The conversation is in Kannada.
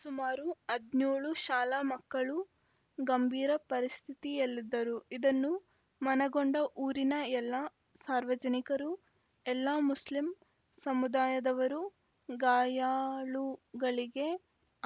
ಸುಮಾರು ಹದಿನೋಳು ಶಾಲಾ ಮಕ್ಕಳು ಗಂಭೀರ ಪರಿಸ್ಥಿತಿಯಲ್ಲಿದ್ದರು ಇದನ್ನು ಮನಗಂಡ ಊರಿನ ಎಲ್ಲ ಸಾರ್ವಜನಿಕರು ಎಲ್ಲ ಮುಸ್ಲಿಂ ಸಮುದಾಯದವರು ಗಾಯಾಳುಗಳಿಗೆ